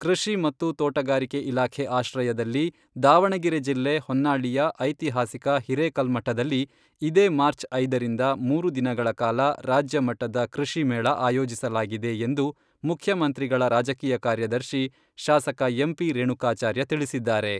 ಕೃಷಿ ಮತ್ತು ತೋಟಗಾರಿಕೆ ಇಲಾಖೆ ಆಶ್ರಯದಲ್ಲಿ ದಾವಣಗೆರೆ ಜಿಲ್ಲೆ ಹೊನ್ನಾಳಿಯ ಐತಿಹಾಸಿಕ ಹಿರೇಕಲ್ಮಠದಲ್ಲಿ ಇದೇ ಮಾರ್ಚ್ ಐದರಿಂದ ಮೂರು ದಿನಗಳ ಕಾಲ ರಾಜ್ಯಮಟ್ಟದ ಕೃಷಿ ಮೇಳ ಆಯೋಜಿಸಲಾಗಿದೆ ಎಂದು ಮುಖ್ಯಮಂತ್ರಿಗಳ ರಾಜಕೀಯ ಕಾರ್ಯದರ್ಶಿ, ಶಾಸಕ ಎಂಪಿ ರೇಣುಕಾಚಾರ್ಯ ತಿಳಿಸಿದ್ದಾರೆ.